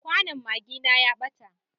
Kwanon magina ya ɓata.